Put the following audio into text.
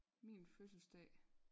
Min fødselsdag